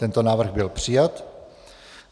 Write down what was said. Tento návrh byl přijat.